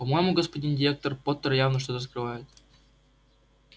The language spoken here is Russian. по-моему господин директор поттер явно что-то скрывает